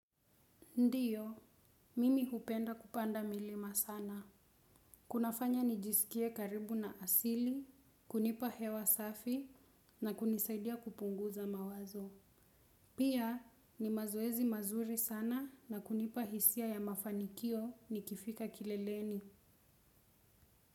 Ndiyo, mimi hupenda kupanda milima sana. Kunafanya nijisikie karibu na asili, kunipa hewa safi na kunisaidia kupunguza mawazo. Pia, ni mazoezi mazuri sana, na kunipa hisia ya mafanikio nikifika kileleni.